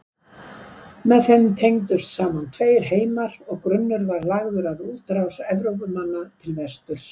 Með þeim tengdust saman tveir heimar og grunnur var lagður að útrás Evrópumanna til vesturs.